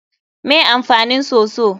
Me amfanin soso?